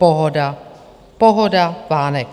Pohoda, pohoda, vánek.